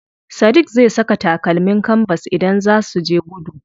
Sadiq zai saka takalmin kanbas idan zaa suje gudu.